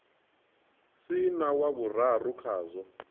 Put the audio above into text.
si na wa vhuraru khazwo